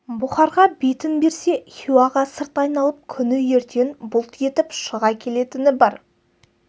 бұхарға бетін берсе хиуаға сырт айналып күні ертең бұлт етіп шыға келетіні бар